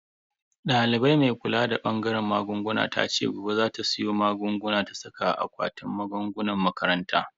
Daliban mai kula da bangaren magunguna tace gobe za ta siyo magunguna ta saka a akwatin magungunan makarantar.